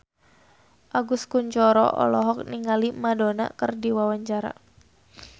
Agus Kuncoro olohok ningali Madonna keur diwawancara